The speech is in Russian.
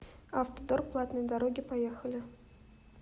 автодор платные дороги поехали